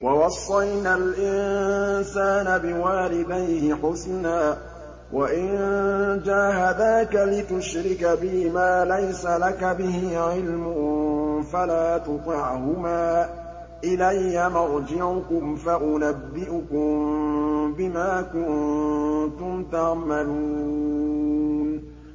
وَوَصَّيْنَا الْإِنسَانَ بِوَالِدَيْهِ حُسْنًا ۖ وَإِن جَاهَدَاكَ لِتُشْرِكَ بِي مَا لَيْسَ لَكَ بِهِ عِلْمٌ فَلَا تُطِعْهُمَا ۚ إِلَيَّ مَرْجِعُكُمْ فَأُنَبِّئُكُم بِمَا كُنتُمْ تَعْمَلُونَ